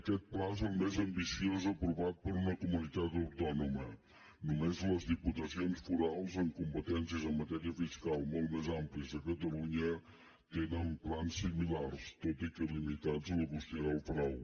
aquest pla és el més ambiciós aprovat per una comunitat autònoma només les diputacions forals amb competències en matèria fiscal molt més àmplies que catalunya tenen plans similars tot i que limitats a la qüestió del frau